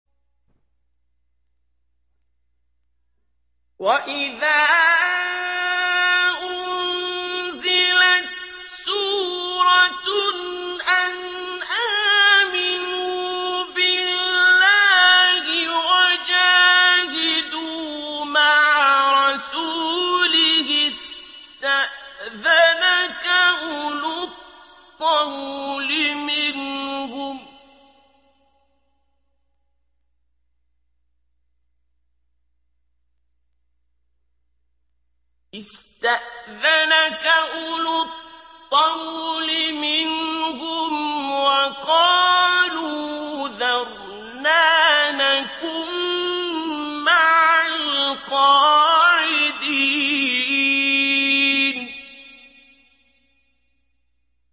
وَإِذَا أُنزِلَتْ سُورَةٌ أَنْ آمِنُوا بِاللَّهِ وَجَاهِدُوا مَعَ رَسُولِهِ اسْتَأْذَنَكَ أُولُو الطَّوْلِ مِنْهُمْ وَقَالُوا ذَرْنَا نَكُن مَّعَ الْقَاعِدِينَ